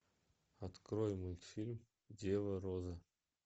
открой мультфильм дева роза